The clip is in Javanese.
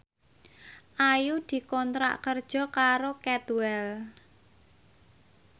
Ayu dikontrak kerja karo Cadwell